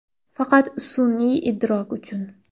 Faqat sun’iy idrok uchun.